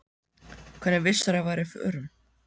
Hvernig vissirðu að ég væri á förum?